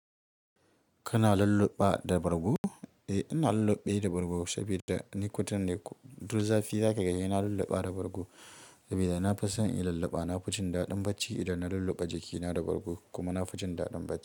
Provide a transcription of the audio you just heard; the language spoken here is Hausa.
Kana lalluba da bargo? Eh, ina lalluɓe da bargo saboda ni kutan ne duk zafi za ka ga sai na lalluɓa da bargo sabida na fi son in lalluɓa. Na fi jin daɗin bacci idan na lalluɓa jakina da bargo kuma na fi jin daɗin bacci.